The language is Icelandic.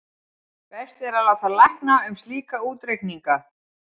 best er að láta lækna um slíka útreikninga